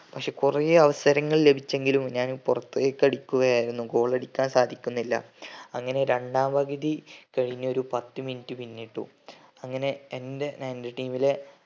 പക്ഷെ കൊറേ അവസരങ്ങൾ ലഭിച്ചെങ്കിലും ഞാൻ പൊറത്തേക്കു അടിക്കുകയായിരുന്നു goal അടിക്കാൻ സാധിക്കുന്നില്ല അങ്ങനെ രണ്ടാം പകുതി കയിഞ്ഞു ഒരു പത്ത് minut പിന്നിട്ടു അങ്ങനെ എൻറെ എൻറെ team ലെ